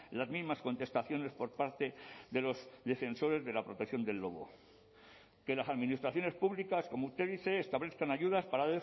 las mismas contestaciones por parte de los defensores de la protección del lobo que las administraciones públicas como usted dice establezcan ayudas para